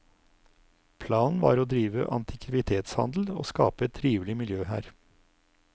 Planen var å drive antikvitetshandel og skape et trivelig miljø her.